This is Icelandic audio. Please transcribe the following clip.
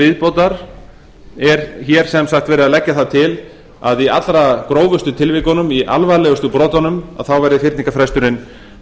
viðbótar er hér sem sagt verið að leggja það til að í allra grófustu tilvikunum í alvarlegustu brotunum verði fyrningarfresturinn